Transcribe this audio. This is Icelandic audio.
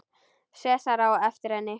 Sesar á eftir henni.